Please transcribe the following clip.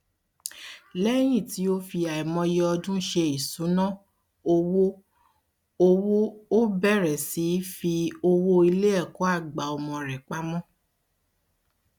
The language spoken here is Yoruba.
lẹyin tó fi àìmọye ọdún ṣe ìṣúná um owó um owó ó bẹrẹ sí í fi owó iléẹkọàgbà ọmọ rẹ pamọ